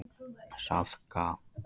Salka